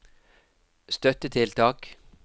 støttetiltak